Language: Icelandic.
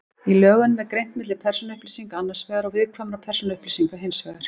Í lögunum er greint milli persónuupplýsinga annars vegar og viðkvæmra persónuupplýsinga hins vegar.